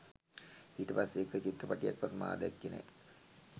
ඊට පස්සෙ එක චිත්‍රපටයකවත් මා දැක්කේ නෑ